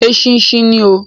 Eṣinṣin ni oo.